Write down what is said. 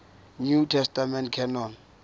new testament canon